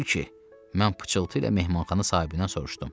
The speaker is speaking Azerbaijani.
Mən pıçıltı ilə mehmanxana sahibindən soruşdum.